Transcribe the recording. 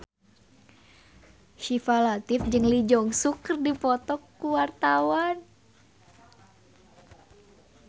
Syifa Latief jeung Lee Jeong Suk keur dipoto ku wartawan